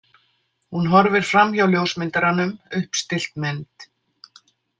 Hún horfir framhjá ljósmyndaranum, uppstillt mynd.